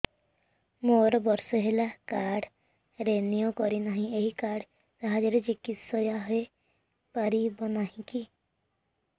ମୋର ବର୍ଷେ ହେଲା କାର୍ଡ ରିନିଓ କରିନାହିଁ ଏହି କାର୍ଡ ସାହାଯ୍ୟରେ ଚିକିସୟା ହୈ ପାରିବନାହିଁ କି